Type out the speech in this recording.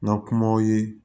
N ka kumaw ye